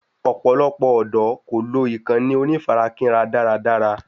Ọ̀pọ̀lọpọ̀ ọ̀dọ́ kò lò ìkànnì onífarakínra dára dára